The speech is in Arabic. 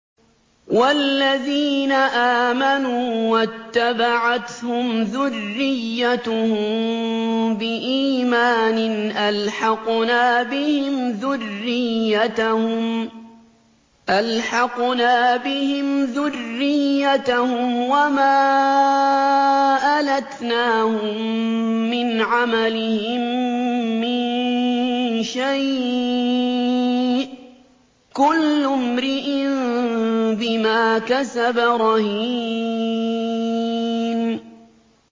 وَالَّذِينَ آمَنُوا وَاتَّبَعَتْهُمْ ذُرِّيَّتُهُم بِإِيمَانٍ أَلْحَقْنَا بِهِمْ ذُرِّيَّتَهُمْ وَمَا أَلَتْنَاهُم مِّنْ عَمَلِهِم مِّن شَيْءٍ ۚ كُلُّ امْرِئٍ بِمَا كَسَبَ رَهِينٌ